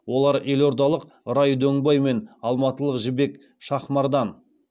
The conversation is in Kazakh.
олар елордалық рай дөңбай мен алматылық жібек шахмардан